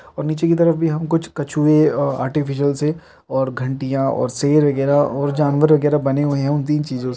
और नीचे की तरफ भी हम कुछ कछुए अ आर्टिफिशियल से और घंटियां और शेर वगैरह और जानवर वगैरह बने हुए हैं इन तीन चीजों से--